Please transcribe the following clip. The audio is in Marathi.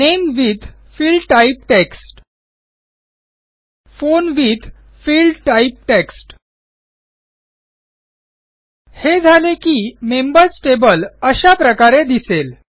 name with field type text phone with field type text हे झाले की मेंबर्स टेबल अशा प्रकारे दिसेल